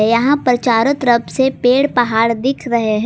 यहां पर चारों तरफ से पेड़ पहाड़ दिख रहे हैं।